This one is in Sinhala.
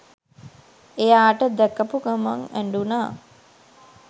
එයාට දැකපු ගමන් ඇඬුණා